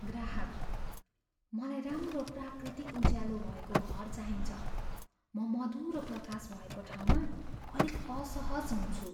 ग्राहकः "मलाई राम्रो प्राकृतिक उज्यालो भएको घर चाहिन्छ, म मधुरो प्रकाश भएको ठाउँमा अलिक असहज हुन्छु।"